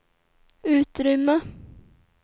utrymme